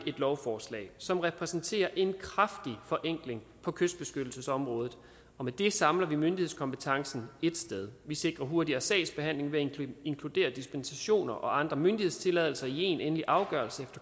et lovforslag som repræsenterer en kraftig forenkling på kystbeskyttelsesområdet med det samler vi myndighedskompetencen ét sted vi sikrer hurtigere sagsbehandling ved at inkludere dispensationer og andre myndighedstilladelser i én endelig afgørelse